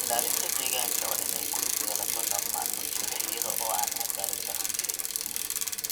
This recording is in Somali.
Ilaalinta deegaanka waa in ay ku lug yeelato dhammaan bulshada iyada oo aan caddaalad-darro jirin.